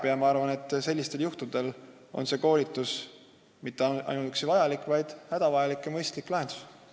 Ja ma arvan, et sellisel juhul ei ole see koolitus mitte ainuüksi vajalik – see on hädavajalik ja mõistlik lahendus.